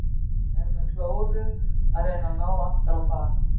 Er með klóru að reyna að ná aftur á bak.